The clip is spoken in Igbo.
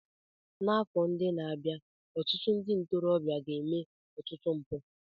N'afọ ndị na-abịa, ọtụtụ ndị ntorobịa ga-eme ọtụtụ mpụ.